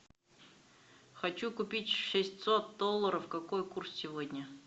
хочу купить шестьсот долларов какой курс сегодня